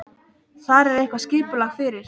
Þar er eitthvað skipulag fyrir.